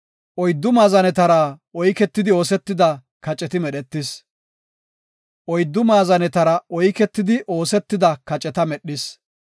Oyddu maazanetara oyketidi oosetida kaceta medhis. Yaatidi, he yarsho bessa naase biratan lanxis.